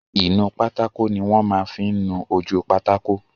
Ìnu pátákó ni wọ́n máa n fí nu ojú pátákó